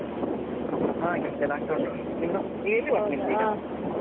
ಹಾ ಕೆಲಸ ಎಲ್ಲ ಆಗ್ತ ಉಂಟು ಎಲ್ಲಿ work ನಿಮ್ದೀಗ?